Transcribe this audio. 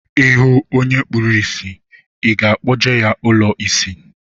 I hụ onye kpuru ìsì, I ga-akpọje ya ụlọ isi?